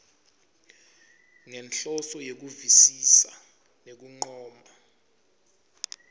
ngenhloso yekuvisisa nekuncoma